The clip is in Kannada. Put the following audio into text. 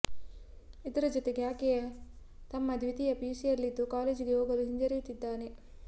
ಇದರ ಜತೆಗೆ ಆಕೆಯ ತಮ್ಮ ದ್ವಿತೀಯ ಪಿಯುಸಿಯಲ್ಲಿದ್ದು ಕಾಲೇಜಿಗೆ ಹೋಗಲು ಹಿಂಜರಿಯುತ್ತಿದ್ದಾನೆ